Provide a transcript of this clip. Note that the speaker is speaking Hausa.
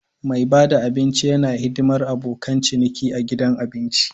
Mai bada abinci yana hidimar abokan ciniki a gidan abinci.